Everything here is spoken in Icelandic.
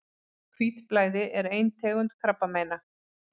Hvítblæði er ein tegund krabbameina.